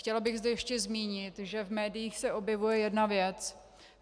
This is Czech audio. Chtěla bych zde ještě zmínit, že v médiích se objevuje jedna věc.